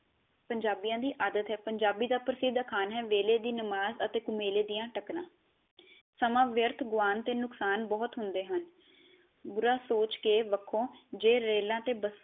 ਪੰਜਾਬੀਆਂ ਦੀ ਆਦਤ ਹੈ ਪੰਜਾਬੀ ਦੀ ਪ੍ਰਸਿਧ ਕਹਾਵਤ ਹੈ ਵੇਲੇ ਦੀ ਨਮਾਜ ਕੁਵੇਲੇ ਦੀਆ ਟੱਕਰਾਂ ਸਮਾ ਵਿਅਰਥ ਗੁਆਉਣ ਦੇ ਨੁਕਸਾਨ ਬਹੁਤ ਹੁੰਦੇ ਹਨ ਬੁਰਾ ਸੋਚ ਕੇ ਵਖੋ ਜੇ ਰੇਲਾ ਤੇ ਬੱਸਾ